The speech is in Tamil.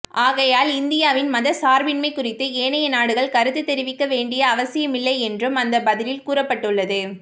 ஆகையால் இந்தியாவின் மதச்சார்பின்மை குறித்து ஏனைய நாடுகள் கருத்து தெரிவிக்க வேண்டிய அவசியமில்லை என்றும் அந்த பதிலில் கூறப்பட்டுள்ளது